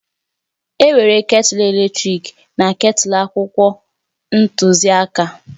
Enwere ketulu eletrik na ketulu akwụkwọ ntuziaka